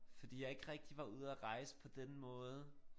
Fordi jeg ikke rigtig var ude at rejse på den måde